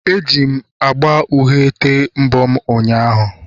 Eji m agba uhie tee mbọ m ụnyahụ